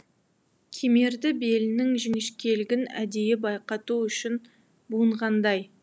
кемерді белінің жіңішкелігін әдейі байқату үшін буынғандай